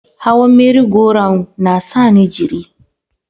Hawan Merry- go- round na sa ni jiri.